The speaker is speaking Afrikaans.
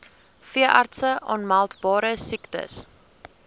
veeartse aanmeldbare siektes